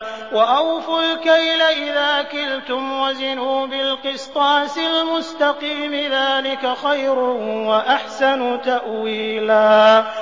وَأَوْفُوا الْكَيْلَ إِذَا كِلْتُمْ وَزِنُوا بِالْقِسْطَاسِ الْمُسْتَقِيمِ ۚ ذَٰلِكَ خَيْرٌ وَأَحْسَنُ تَأْوِيلًا